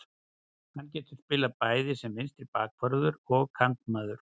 Hann getur spilað bæði sem vinstri bakvörður og kantmaður.